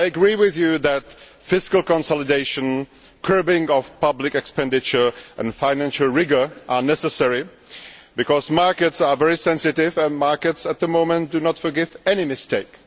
I agree with you that fiscal consolidation, curbing of public expenditure and financial rigour are necessary because markets are very sensitive and markets at the moment do not forgive any mistake.